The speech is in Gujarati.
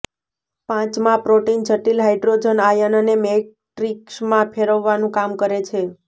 પાંચમા પ્રોટીન જટિલ હાઇડ્રોજન આયનને મેટ્રિક્સમાં ફેરવવાનું કામ કરે છે